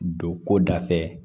Don ko da fɛ